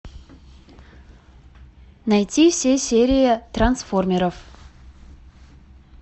найти все серии трансформеров